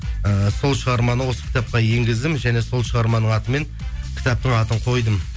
і сол шығарманы осы кітапқа енгіздім және сол шығарманың атымен кітаптың атын қойдым